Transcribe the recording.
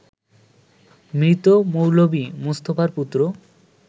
মৃত মৌলভী মোস্তফার পুত্র